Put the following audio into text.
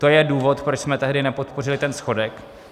To je důvod, proč jsme tehdy nepodpořili ten schodek.